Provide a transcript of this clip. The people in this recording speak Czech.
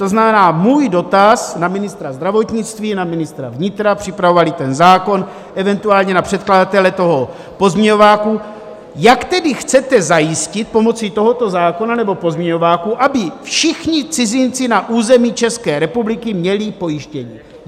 To znamená, můj dotaz na ministra zdravotnictví, na ministra vnitra, připravovali ten zákon, eventuálně na předkladatele toho pozměňováku: Jak tedy chcete zajistit pomocí tohoto zákona nebo pozměňováku, aby všichni cizinci na území České republiky měli pojištění?